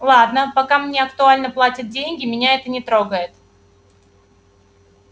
ладно пока мне актуально платят деньги меня это не трогает